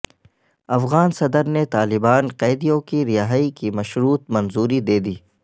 افغان صدر نے طالبان قیدیوں کی رہائی کی مشروط منظوری دے دی